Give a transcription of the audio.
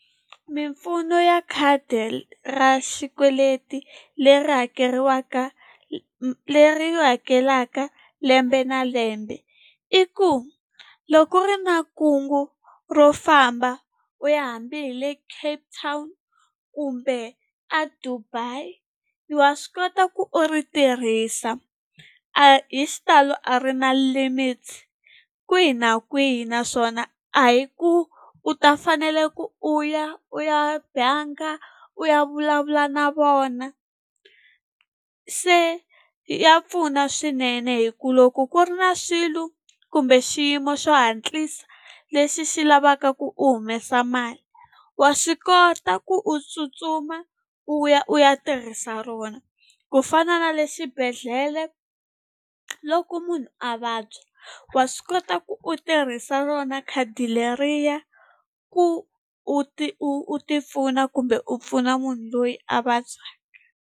Mimpfuno ya khadi ra xikweleti leri hakeriwaka leri hakelaka lembe na lembe i ku loko u ri na makungu ro famba u ya hambi hi le Capetown kumbe a Dubai wa swi kota ku u ri tirhisa hi xitalo, a ri na limit kwihi na kwihi naswona a hi ku u ta fanele ku u ya u ya banga u ya vulavula na vona. Se ya pfuna swinene hi ku loko ku ri na swilo kumbe xiyimo xo hatlisa lexi xi lavaka ku u humesa mali wa swi kota ku u tsutsuma u ya u ya tirhisa rona kufana na le xibedhlele loko munhu a vabya wa swi kota ku u tirhisa rona khadi leriya ku u ti u ti pfuna kumbe u pfuna munhu loyi a vabyaka.